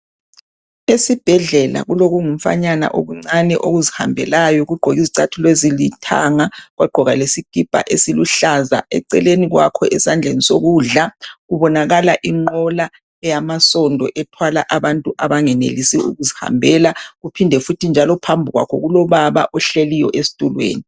Esibhedlela kulo kumfanyana okuncane okuzihambelayo kugqoke izicathulo ezilithanga kwagqoka lesikipa esiluhlaza eceleni kwakho esandleni sokudla kubonakala enqola eyamsondo ethwala abantu abangenelisi ukuzihambela kuphinde futhi phambi kwakho kulobaba ohleliyo esitulweni.